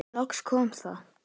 Loks kom það.